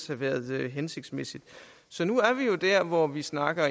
have været hensigtsmæssigt så nu er vi der hvor vi snakker